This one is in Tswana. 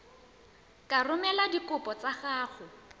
ka romela dikopo tsa gago